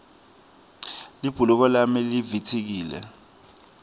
libhuluko lami livitsikile